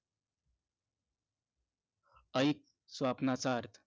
ऐक स्वप्नाचा अर्थ